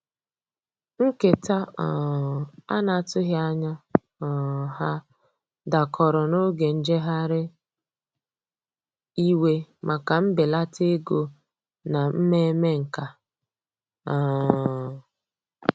Nketa um ana atughi anya um ha dakọrọ n'oge njeghari iwe maka mbelata ego na mmeme nkà. um